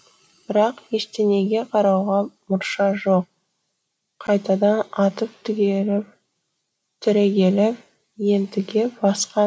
бірақ ештеңеге қарауға мұрша жоқ қайтадан атып түрегеліп ентіге басқан